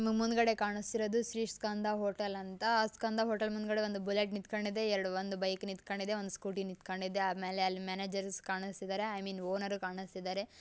ನಮ್ಮ್ ಮುಂದ್ಗಡೆ ಕಾಣಿಸ್ತಾ ಇರೋದು ಶ್ರೀ ಸ್ಕಂದ ಹೋಟೆಲ್ ಅಂತ ಸ್ಕಂದ ಹೋಟೆಲ್ ಮುಂದ್ಗಡೆ ಒಂದು ಬುಲೆಟ್ ನಿಂತ್ಕಂಡಿದೆ ಎರಡ್ ಒಂದು ಬೈಕ್ ನಿಂತ್ಕಂಡಿದೆ ಒಂದ್ ಸ್ಕೂಟಿ ನಿಂತ್ಕಂಡಿದೆ ಆಮೇಲೆ ಅಲ್ಲಿ ಮ್ಯಾನೇಜರ್ ಕಾಣಿಸ್ತದರೆ ಆಮೇಲೆ ಓನರ್ ಕಾಣಿಸ್ತಿದಾರೆ.